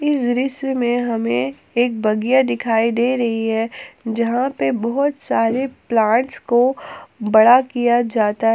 इस दृश्य में हमें एक बगिया दिखाई दे रही है जहाँ पे बहुत सारे प्लांट्स को बड़ा किया जाता--